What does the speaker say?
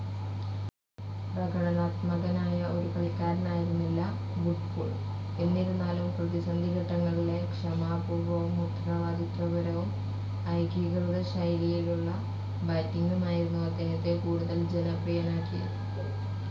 പ്രകടനാത്മകനായ ഒരു കളിക്കാരനായിരുന്നില്ല വുഡ്ഫുൾ എന്നിരുന്നാലും പ്രതിസന്ധി ഘട്ടങ്ങളിലെ ക്ഷമാപൂർവ്വവും ഉത്തരവാദിത്വപരവും, ഏകീകൃത ശൈലിയിലുള്ള ബാറ്റിങ്ങുമായിരുന്നു അദ്ദേഹത്തെ കൂടുതൽ ജനപ്രീയനാക്കിയത്.